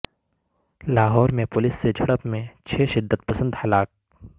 لاہور میں پولیس سے جھڑپ میں چھ شدت پسند ہلاک